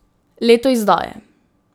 Leto izdaje.